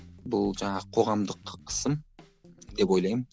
бұл жаңағы қоғамдық қысым деп ойлаймын